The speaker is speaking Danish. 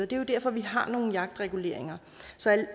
det er jo derfor vi har nogle jagtreguleringer så